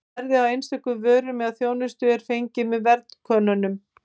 Verðið á einstökum vörum eða þjónustu er fengið með verðkönnunum.